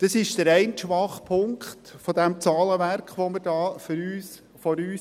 Dies ist der eine Schwachpunkt dieses Zahlenwerks, das wir vor uns haben.